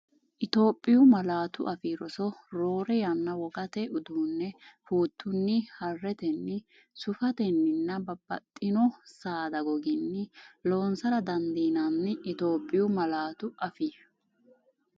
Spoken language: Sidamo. Itophiyu Malaatu Afii Roso Roore yanna wogate uduunne fuuttunni, haaretenni, suufetenninna bab- baxxitino saada gogganni loonsara dandiinanni Itophiyu Malaatu Afii.